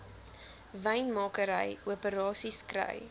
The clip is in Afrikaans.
wynmakery operasies kry